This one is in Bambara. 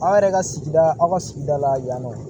Aw yɛrɛ ka sigida aw ka sigida la yan nɔ